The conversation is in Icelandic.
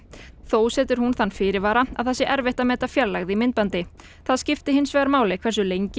þó setur hún þann fyrirvara að það sé erfitt að meta fjarlægð í myndbandi það skipti hins vegar máli hversu lengi